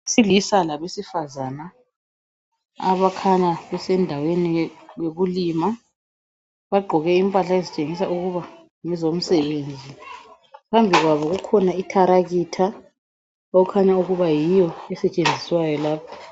... silisa labesifazana abakhanya besendaweni ye yokulima, bagqoke impahla ezitshengisa ukuba ngezomsebenzi phambi kwabo kukhona itharakitha okukhanya ukuba yiyo estshenziswayo lapho.